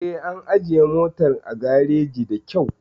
Eh, an ajiye motar a gareji da kyau